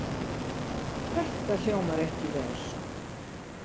Þetta hljómar ekki vel.